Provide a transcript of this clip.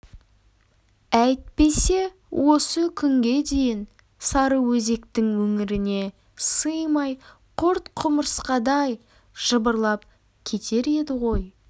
әйтпесе осы күнге дейін сарыөзектің өңіріне сыймай құрт-құмырсқадай жыбырлап кетер еді ғой